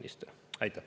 Aitäh!